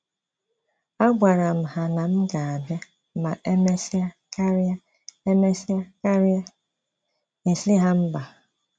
A gwara m ha na m ga-abịa ma emesia karịa emesia karịa isi ha mba